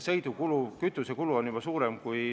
See kütusekulu on juba suurem.